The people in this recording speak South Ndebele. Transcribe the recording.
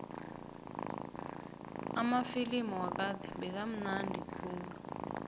amafilimu wakade bekamnandi khulu